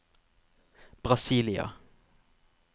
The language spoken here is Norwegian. Brasília